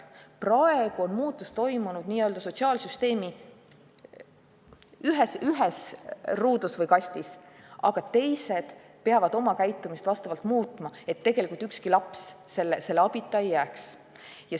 Praegu on muutus toimunud n-ö sotsiaalsüsteemi ühes ruudus või kastis, aga ka teised peavad oma käitumist muutma, et tegelikult ükski laps abita ei jääks.